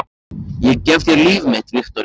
Ég gef þér líf mitt, Viktoría.